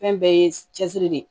Fɛn bɛɛ ye cɛsiri de ye